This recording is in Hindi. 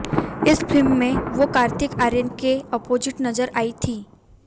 इस फिल्म में वो कार्तिक आर्यन के अपोजिट नजर आईं थी